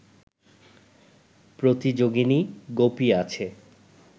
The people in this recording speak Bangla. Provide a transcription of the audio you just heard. প্রতিযোগিনী গোপী আছে